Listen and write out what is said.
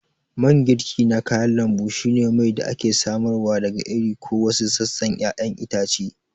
Mangirki na kayan lambu shine mai da ake samarwa daga iri ko wasu sassan ƴaƴan itace.